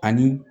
Ani